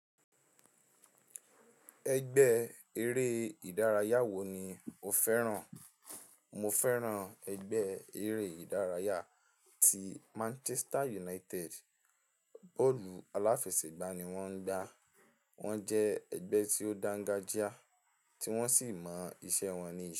Ẹgbẹ́ eré ìdárayá wo ni o fẹ́ràn? Mo fẹ́ràn ẹgbẹ́ eré ìdárayá ti Manchester United, bọ́ọ̀lù aláfẹsẹ̀gbá ni wọ́n ń gbá. Wọ́n jẹ́ ẹgbẹ́ tí ó dáńgájíá tí wọ́n sì mọ iṣẹ́ wọn ní ìṣe.